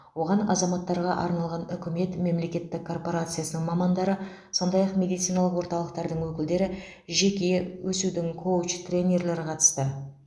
оған азаматтарға арналған үкімет мемлекеттік корпорациясының мамандары сондай ақ медициналық орталықтардың өкілдері жеке өсудің коуч тренерлері қатысты